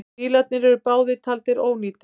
Bílarnir eru báðir taldir ónýtir.